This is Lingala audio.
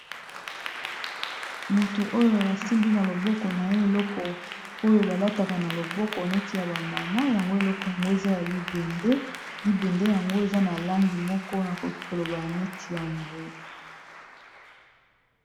Moto oyo asimbi na loboko na ye, eloko oyo balataka na loboko neti ya bamama. Yango eloko yango eza ya libende. Libende yango eza na langi moko nakoloba neti ya mbwe.